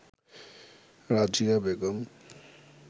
Razia Begum